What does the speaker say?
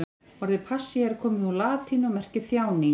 Orðið passía er komið úr latínu og merkir þjáning.